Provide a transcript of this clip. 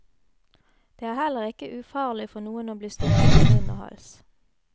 Det er heller ikke ufarlig for noen å bli stukket i munn og hals.